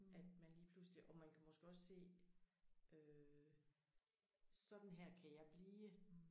At man lige pludselig og man kan måske også se øh sådan her kan jeg blive